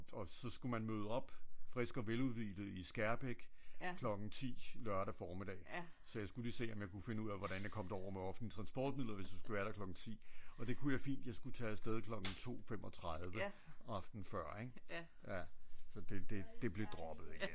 Og så skulle man møde op frisk og veludhvilet i Skærbæk klokken 10 lørdag formiddag så jeg skulle lige se om jeg kunne finde ud af hvordan jeg kom derover med offentlige transportmidler hvis jeg skulle være der klokken 10 og det kunne jeg fint jeg skulle tage afsted klokken 2 35 aftenen før ik? Så det blev droppet igen nej nej nej